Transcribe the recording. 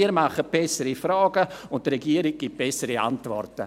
Wir machen bessere Fragen und die Regierung gibt bessere Antworten.